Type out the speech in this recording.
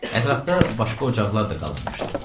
Ətrafda başqa ocaqlar da qalanmışdı.